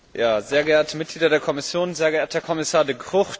Sehr geehrte Mitglieder der Kommission, sehr geehrter Herr Kommissar De Gucht!